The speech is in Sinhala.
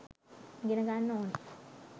ඉගෙන ගන්න ඕනෙ